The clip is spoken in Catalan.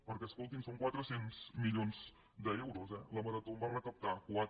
perquè escolti’m són quatre cents milions d’euros eh la marató en va recaptar quatre